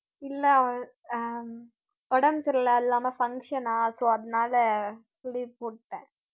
இல்ல ஆஹ் உடம்பு சரியில்ல, அது இல்லாம function ஆ so அதனால leave போட்டேன்